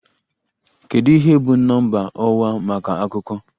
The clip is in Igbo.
Kedu ihe bụ Nọmba ọwa maka Akụkọ?